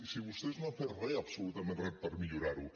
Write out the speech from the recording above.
si vostès no han fet re absolutament re per millorar ho